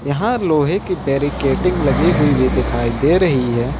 यहां लोहे की बैरीकेडिंग लगी हुई भी दिखाई दे रही है।